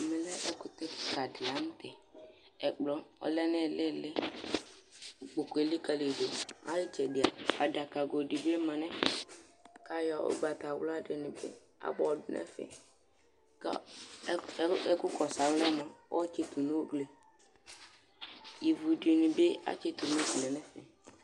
ɛmɛ lɛ ɛkutɛ keka di lantɛ ɛkplɔ ɔlɛ n'ilili ikpoku elikali do ay'itsɛdi a adaka go dibi ma n'ɛfɛ k'ayɔ ugbatawla dini bi abɔ do n'ɛfɛ kò ɛku kɔsu alɔɛ moa ɔtsito n'ugli ivu dini bi tsito n'uglie n'ɛfɛ